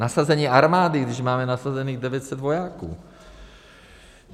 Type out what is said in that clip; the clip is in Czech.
Nasazení armády, když máme nasazených 900 vojáků.